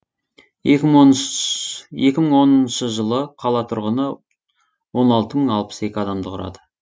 екі мыңоныншы жылы қала тұрғыны он алты мың алпыс екі адамды құрады